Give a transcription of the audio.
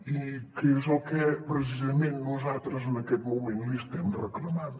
i que és el que precisament nosaltres en aquest moment li estem reclamant